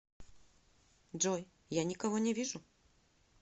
джой я никого не вижу